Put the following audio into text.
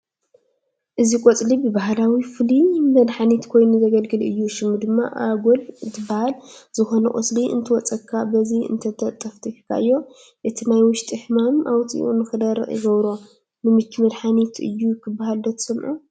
እዚ ቆፅሊ ብባህላዊ ፍሉይ መድሓኒት ኮይኑ ዘገልግል አዩ፡፡ ሽሙ ድማ ኣጎል እንትባሃል ዝኾነ ቆስሊ እንተወፂኡካ በዚ እንተጠፈጢካዮ እቲ ናይ ውሽጢ ሕማም ኣውፂኡ ንኽደርቕ ይገብሮ፡፡ ንምቺ መድሓኒት እዩ ክባሃል ዶ ትሰምዑ ?